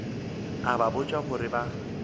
a ba botša gore ba